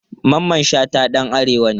Mamman Shata dan arewa ne.